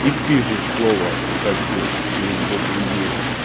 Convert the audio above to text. и пишешь слово хочу через букву ю